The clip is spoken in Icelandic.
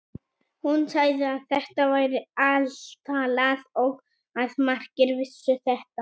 Hún sagði að þetta væri altalað og að margir vissu þetta.